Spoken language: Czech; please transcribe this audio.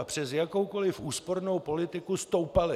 A přes jakoukoli úspornou politiku stoupaly.